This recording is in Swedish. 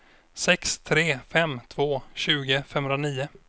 sex tre fem två tjugo femhundranio